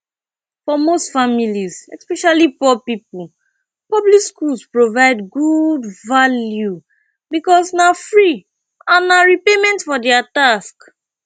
for most families especially poor pipo public schools provide good value because na free and na repayment for their tax